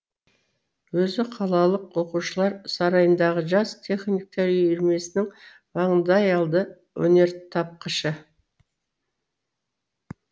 өзі қалалық оқушылар сарайындағы жас техниктер үйірмесінің маңдайалды өнертапқышы